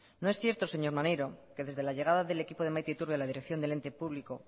no es cierto señor maneiro que desde la llegada del equipo de maite iturbe a la dirección del ente público